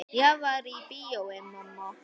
Ég var í bíói mamma.